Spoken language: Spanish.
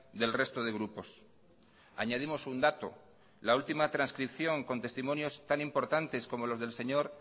del resto de grupos añadimos un dato la última transcripción con testimonios tan importantes como los del señor